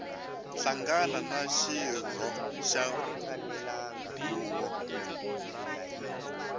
hlangana na xirho xa huvo